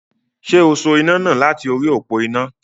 Ṣé o so iná náà láti orí òpo iná.